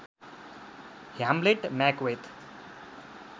Hamlet Macbeth